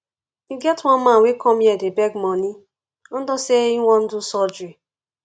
e get one man wey come here dey beg money unto say he wan do surgery